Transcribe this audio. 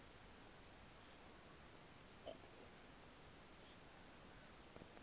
kuloo fama yakhe